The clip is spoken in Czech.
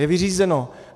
Je vyřízeno!